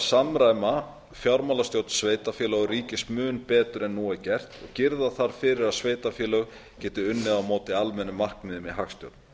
samræma fjármálastjórn sveitarfélaga og ríkis mun betur en nú er gert og girða þarf fyrir að sveitarfélög geti unnið á móti almennum markmiðum í hagstjórn